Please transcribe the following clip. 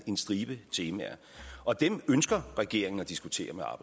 en stribe temaer og dem ønsker regeringen at diskutere